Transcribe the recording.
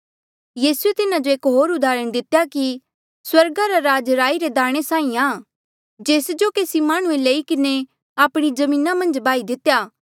यीसूए तिन्हा जो एक होर उदाहरण दितेया कि स्वर्गा रा राज राई रे एक दाणे साहीं आं जेस जो केसी माह्णुंऐ लई किन्हें आपणी जमीना मन्झ बाही दितेया